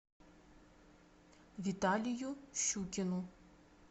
виталию щукину